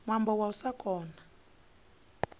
ṅwambo wa u sa kona